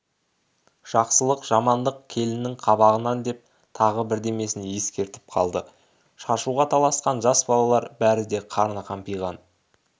жақсылық жамандық келіннің қабағынан деп тағы бірдемесін ескертіп қалды шашуға таласқан жас балалар бәрі де қарны қампиған